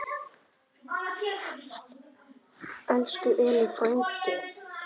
Elsku Elli frændi.